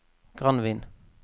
Granvin